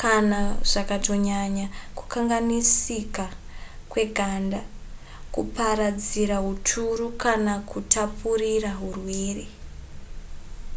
kana zvakatonyanya kukanganisika kweganda kuparadzira huturu kana kutapurira hurwere